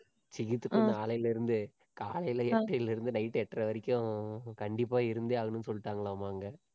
நாளையிலிருந்து காலையில எட்டரைல இருந்து நைட்டு எட்டரை வரைக்கும் கண்டிப்பா இருந்தே ஆகணும்னு சொல்லிட்டாங்களாம் அங்க